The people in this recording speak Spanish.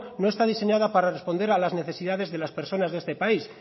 no está diseñada para responder a las necesidades de las personas de este país